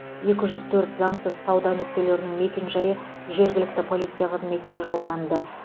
екі жүз төрт заңсыз сауда нүктелерінің мекенжайы жергілікті полиция қызметіне жолданды